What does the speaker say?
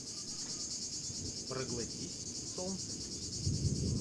проглотись солнце